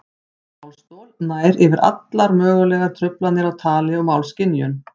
Málstol nær yfir allar mögulegar truflanir á tali og málskynjun.